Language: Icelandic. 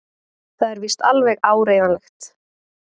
Það er víst alveg áreiðanlegt!